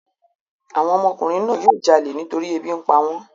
Àwọn ọmọkùnrin náà yóò jalè nítorí ebi ń pa wọ́n.